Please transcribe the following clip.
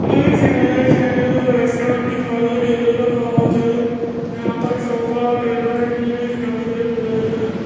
इस इमेज में एक रेस्टोरेंट दिखाई दे रहा है यहां पर सोफा टेबल भी रखे हुए है।